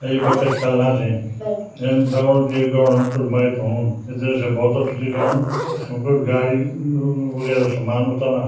अ ये बच्चा ख्येलना छै नो इन लगणु च ये ग्राउंड म कुइ मैच हूणु जैसे भौत अच्छु दिख्योणु यखम कुई गाडी म-म वगैरा सामान उतरना।